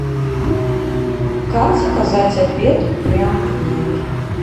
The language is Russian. как заказать обед прям в номер